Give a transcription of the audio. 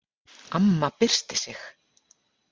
Amma byrsti sig.